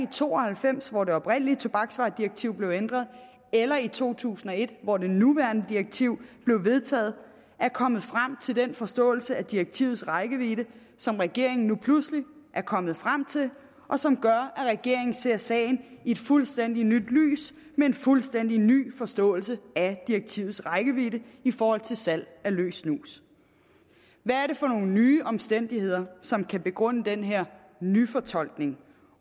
to og halvfems hvor det oprindelige tobaksvaredirektiv blev ændret eller i to tusind og et hvor det nuværende direktiv blev vedtaget er kommet frem til den forståelse af direktivets rækkevidde som regeringen nu pludselig er kommet frem til og som gør at regeringen ser sagen i et fuldstændig nyt lys med en fuldstændig ny forståelse af direktivets rækkevidde i forhold til salg af løs snus hvad er det for nogle nye omstændigheder som kan begrunde den her nyfortolkning